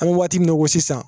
An bɛ waati min na i ko sisan